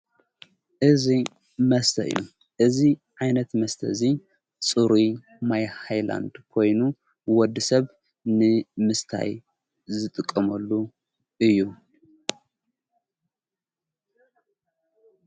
እዙይ መስተ እዩ እዙ ዓይነት መስተ እዙይ ጽሩይ ማይይላንድ ኾይኑ ወዲሰብ ንምስታይ ዝጥቕመሉ እዩ።